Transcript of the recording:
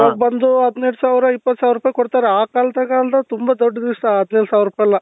ಇವಾಗ ಬಂದು ಹದಿನೆಂಟು ಸಾವಿರ ಇಪ್ಪತ್ತು ಸಾವಿರ ರೂಪಾಯಿ ಕೊಡ್ತಾರೆ ಅ ಕಾಲದಗೆ ಅಂದ್ರೆ ತುಂಬಾ ದೊಡ್ಡ ವಿಷ್ಯ ಹದಿನೈದು ಸಾವಿರ ರೂಪಾಯಿ ಎಲ್ಲ